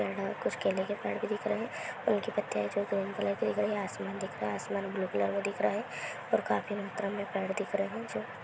Building दिखाई दे रही है उसके सामने गेट बताओ।